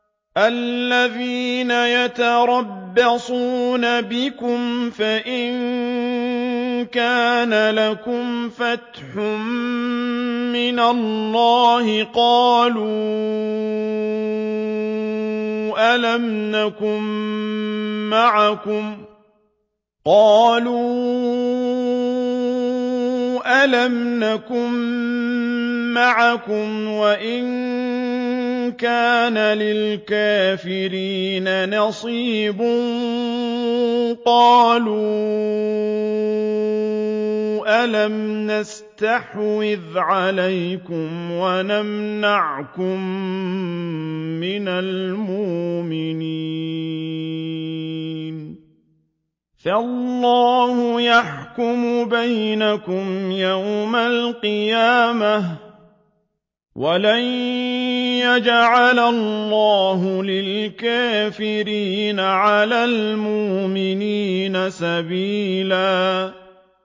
الَّذِينَ يَتَرَبَّصُونَ بِكُمْ فَإِن كَانَ لَكُمْ فَتْحٌ مِّنَ اللَّهِ قَالُوا أَلَمْ نَكُن مَّعَكُمْ وَإِن كَانَ لِلْكَافِرِينَ نَصِيبٌ قَالُوا أَلَمْ نَسْتَحْوِذْ عَلَيْكُمْ وَنَمْنَعْكُم مِّنَ الْمُؤْمِنِينَ ۚ فَاللَّهُ يَحْكُمُ بَيْنَكُمْ يَوْمَ الْقِيَامَةِ ۗ وَلَن يَجْعَلَ اللَّهُ لِلْكَافِرِينَ عَلَى الْمُؤْمِنِينَ سَبِيلًا